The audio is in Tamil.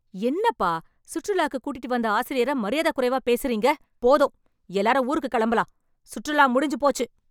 என்னப்பா சுற்றுலாக்கு கூட்டிட்டு வந்த ஆசிரியர மரியாதைக் குறைவா பேசுறீங்க. போதும் எல்லாரும் ஊருக்கு கிளம்பலாம். சுற்றுலா முடிஞ்சு போச்சு.